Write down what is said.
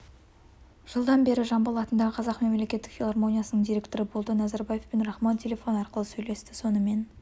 жылдан бері жамбыл атындағы қазақ мемлекеттік филармониясының директоры болды назарбаев пен рахмон телефон арқылы сөйлесті сонымен